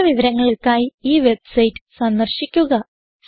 കൂടുതൽ വിവരങ്ങൾക്കായി ഈ വെബ്സൈറ്റ് സന്ദർശിക്കുക